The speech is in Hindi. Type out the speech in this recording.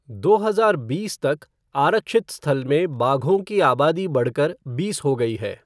दो हजार बीस तक, आरक्षित स्थल में बाघों की आबादी बढ़कर बीस हो गई है।